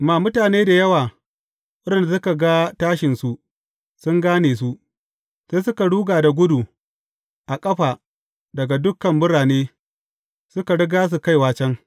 Amma mutane da yawa waɗanda suka ga tashinsu, sun gane su, sai suka ruga da gudu a ƙafa daga dukan birane, suka riga su kaiwa can.